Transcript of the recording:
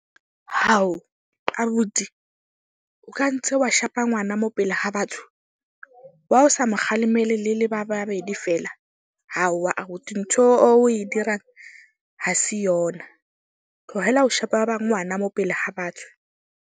abuti o ka ntse wa shapa ngwana mo pele ha batho. Why o sa mo kgalemele le le ba babedi fela? abuti ntho o e dirang, ha se yona. Tlohela ho sheba ba ngwana mo pele ha batho.